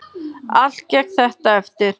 Allt gekk þetta eftir.